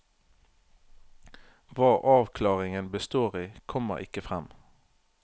Hva avklaringen består i, kommer ikke frem.